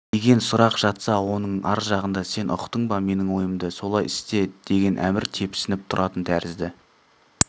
деген сұрақ жатса оның ар жағында сен ұқтың ба менің ойымды солай істе деген әмір тепсініп тұратын тәрізді